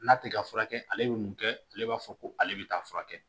N'a tɛ ka furakɛ ale bɛ mun kɛ ale b'a fɔ ko ale bɛ taa furakɛ